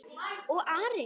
Og Ari?